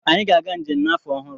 Anyị ga-aga njem n'afọ ọhụrụ.